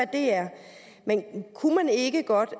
det er men kunne man ikke godt